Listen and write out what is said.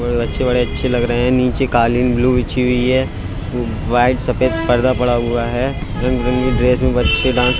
बड़े बड़े अच्छे लग रहे है| नीचे कालीन ब्लू बिछी हुयी है| व्हाइट सफेद पर्दा पड़ा हुआ है| रंग विरंगे ड्रेस में बच्चे डांस --